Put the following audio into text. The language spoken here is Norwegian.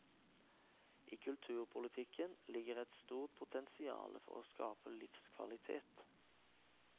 I kulturpolitikken ligger et stort potensiale for å skape livskvalitet.